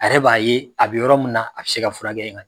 A yɛrɛ b'a ye a bɛ yɔrɔ min na a bɛ se ka furakɛ yen ka ɲɛ